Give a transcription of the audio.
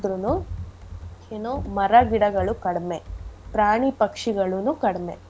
ಏನೂ ಮರಗಿಡಗಳು ಕಡಿಮೆ ಪ್ರಾಣಿ ಪಕ್ಷಿಗಳೂನೂ ಕಡ್ಮೆ.